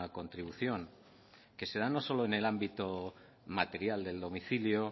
contribución que se da no solo en el ámbito material del domicilio